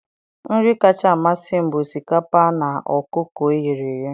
nri kacha amasị m bụ osikapa na ọkụkọ e ghere eghe